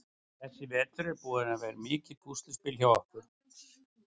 Þessi vetur er búinn að vera mikið púsluspil hjá okkur.